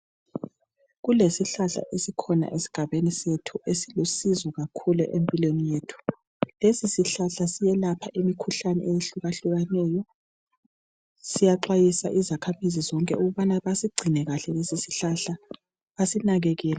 Kulesihlahla esikhona esigabeni sethu. Silusizo kakhulu empilweni yethu. Lesisihlahla siyelapha imikhuhlane ehlukahlukeneyo. Siyaxwayisa izakhamizi zonke ukuthi basigcine kahle lesisihlahla. Basinakekele.